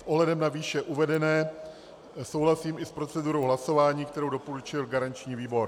S ohledem na výše uvedené souhlasím i s procedurou hlasování, kterou doporučil garanční výbor.